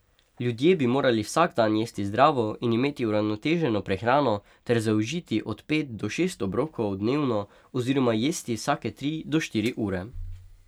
Ljudje bi morali vsak dan jesti zdravo in imeti uravnoteženo prehrano ter zaužiti od pet do šest obrokov dnevno oziroma jesti vsake tri do štiri ure.